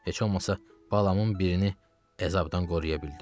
Heç olmasa balamın birini əzabdan qoruya bildim.